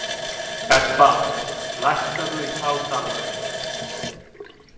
Ebba, lækkaðu í hátalaranum.